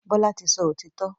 Bola tí sọ òtító.